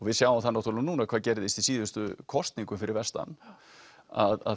við sjáum það náttúrulega núna hvað gerðist í síðustu kosningum fyrir vestan að